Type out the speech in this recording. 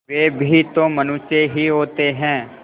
वे भी तो मनुष्य ही होते हैं